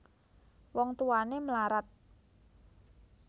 Wong Tuwané mlarat